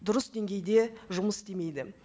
дұрыс деңгейде жұмыс істемейді